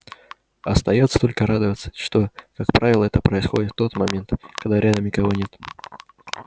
остаётся только радоваться что как правило это происходит в тот момент когда рядом никого нет